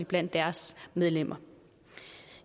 blandt deres medlemmer